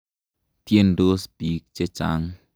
Tyendos piik che chang'.